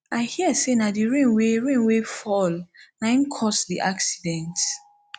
i hear say na the rain wey rain wey fall na im cause the accident